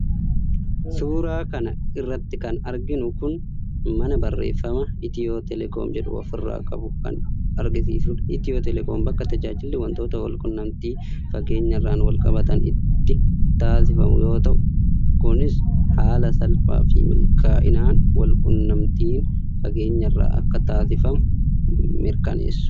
suuraa kana irratti kan arginu kun mana barrefama itiyoo telekoom jedhu ofirraa qabu kan agarsiisudha. itiyoo telekoom bakka tajaajilli wantoota walqunnamtii fageenyarraan walqabatan itti taasifamu yoo ta'u , kunis haala salphaafi milkaa'inaan walqunnamtiin fageenyarraa akka taasifamu mirkaneessu.